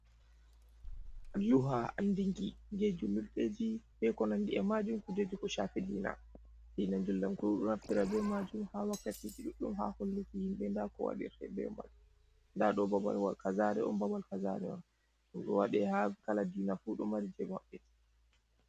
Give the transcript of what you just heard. Alluha andinki je julurɗeji be ko nandi e majum, kujeji ko shaafi diina. Diina njulndamku ɗo naftira be majum haa wakkati ji ɗuɗɗum haa holluki himɓe nda ko waɗirte be man, nda ɗo babalwa kaza, ɗo on babal kaza ɗo. Ɗum ɗo waɗe haa kala diina fu ɗo mari je maɓɓe.